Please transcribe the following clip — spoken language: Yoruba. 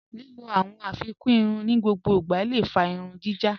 Lílọ̀ awọn afikún ìrùn ni gbogbo ìgbà lé fà ìrùn jíjá.